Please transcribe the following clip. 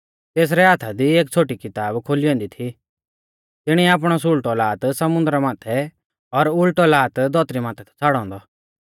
तेसरै हाथा दी एक छ़ोटी किताब खोली ऐन्दी थी तिणिऐ आपणौ सुल़टौ लात समुन्दरा माथै और उल़टौ लात धौतरी माथै थौ छ़ाड़ौ औन्दौ